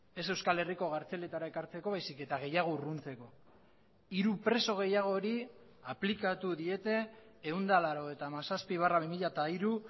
ez euskal herriko kartzeletara ekartzeko baizik eta gehiago urruntzeko hiru preso gehiagori aplikatu diete ehun eta laurogeita hamazazpi barra bi mila hiru